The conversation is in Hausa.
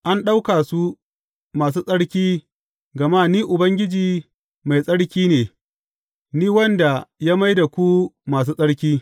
An ɗauka su masu tsarki gama Ni Ubangiji, mai tsarki ne, Ni wanda ya mai da ku masu tsarki.